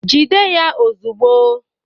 Jide ya ozugbo!